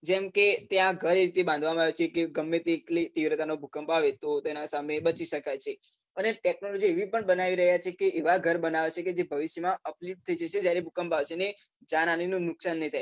જેમ કે ત્યાં ઘર એ રીતે બાંધવામાં આવ્યાં છે કે ગમે તેટલી તીવ્રતાનો ભૂકંપ આવે તો તેના સામે બચી શકાય છે અને ટેકનોલોજી એવી પણ બનાવી રહ્યા છે કે એવાં ઘર બનાવે છે કે જે ભવિષ્યમાં જયારે ભૂકંપ આવશે ને જાનહાનીનું નુકશાન નઈ થાય.